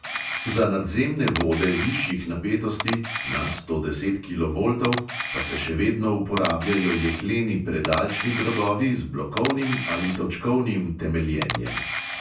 Za nadzemne vode višjih napetosti (nad sto deset kilovoltov) pa se še vedno uporabljajo jekleni predalčni drogovi z blokovnim ali točkovnim temeljenjem.